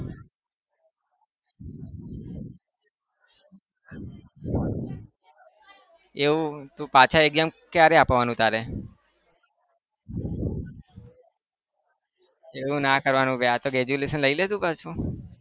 એવું તો પાછા exam કયારે આપવાનું તારે? એવું ના કરવાનું હોય આ તો graduation લઈલે તું પાછુ.